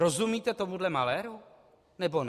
Rozumíte tomuto maléru, nebo ne?